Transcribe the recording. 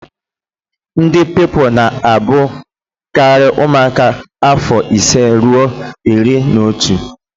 Ndị Pupilụ na abụ karị ụmụaka afọ ise rue iri na otu